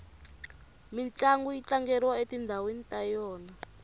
mintlangu yi tlangeriwa etindhawini ta yona